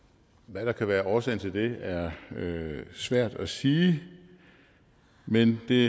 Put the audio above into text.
hvad der kan være årsagen til det er svært at sige men det